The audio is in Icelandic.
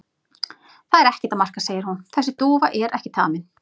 Það er ekkert að marka segir hún, þessi dúfa er ekki tamin.